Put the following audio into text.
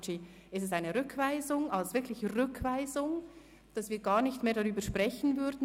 Beantragen Sie eine Rückweisung, sodass wir gar nicht mehr darüber sprechen werden?